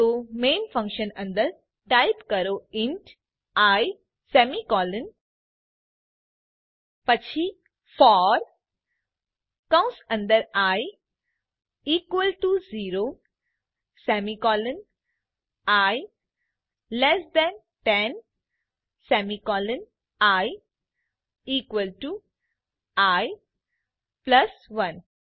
તો main function અંદર type કરો ઇન્ટ આઇ સેમી કોલન પછી ફોર કૌંશ અંદર i equal to 0 semicolon i less than 10 semicolon i equal to i plus 1